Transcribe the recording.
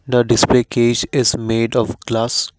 the display case is made of glass.